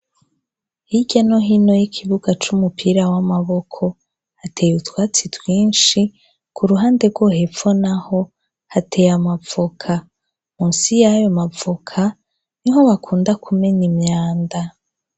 Hirya no hino y'ikibuga c'umupira w'amaboko hateye butwatsi twinshi, ku ruhande rwo hepfo naho, hateye amavoka munsi y'ayo mavoka, niho bakunda kumena imyanda.